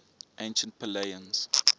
ancient pellaeans